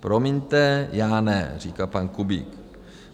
Promiňte, já ne, říká pan Kubík.